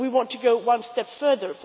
And we want to go one step further.